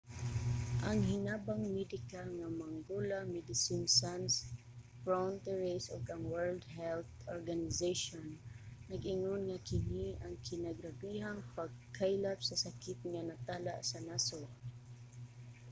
ang hinabang medikal nga mangola medecines sans frontieres ug ang world health organization nag-ingon nga kini ang kinagrabehang pagkaylap sa sakit nga natala sa nasod